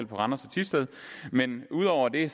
på randers og thisted men ud over det